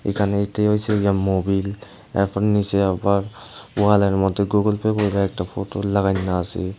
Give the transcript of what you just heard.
এখানে এটি হয়েছে যে মোবিল এখন নিচে আবার ওয়ালের মধ্যে গুগল পে করে একটা ফটো লাগাইনো আছে।